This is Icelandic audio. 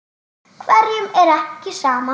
Hverjum er ekki sama.